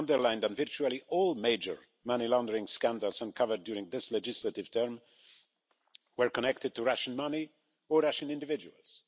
Let me underline that virtually all major money laundering scandals uncovered during this legislative term were connected to Russian money or Russian individuals.